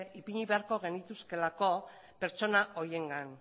ipini behar genituzkeelako pertsona horiengan